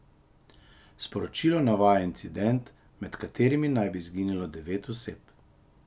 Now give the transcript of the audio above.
Sporočilo navaja incident, med katerim naj bi izginilo devet oseb.